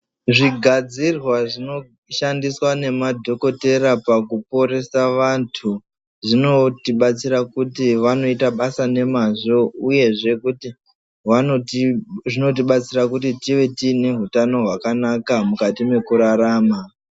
Zvigadzirwa zvinoshandiswa nemadhokodheya pakuporesa vantu zvinotibatsira kuti vanoita basa nemazvo uyezve kuti zvinotibatsira kuti tive tiine hutano hwakanaka mukati mekurarama.